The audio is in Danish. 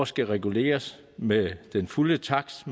skal reguleres med den fulde takst